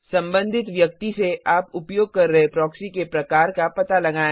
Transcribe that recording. संबंधित व्यक्ति से आप उपयोग कर रहे प्रॉक्सी के प्रकार का पता लगाएँ